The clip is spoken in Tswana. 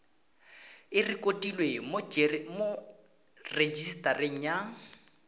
e rekotiwe mo rejisetareng ya